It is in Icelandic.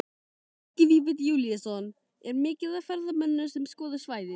Helgi Vífill Júlíusson: Er mikið af ferðamönnum sem skoða svæðið?